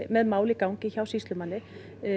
með mál í gangi hjá sýslumanni